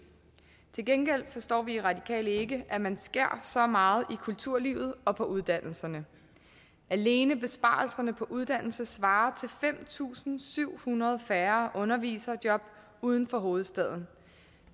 til gengæld forstår vi i radikale venstre ikke at man skærer så meget i kulturlivet og på uddannelserne alene besparelserne på uddannelse svarer til fem tusind syv hundrede færre underviserjob uden for hovedstaden